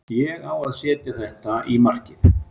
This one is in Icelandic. Ég á að setja þetta í markið.